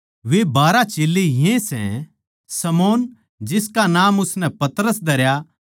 वे बारहा चेल्लें ये सै शमौन जिसका नाम उसनै पतरस धरया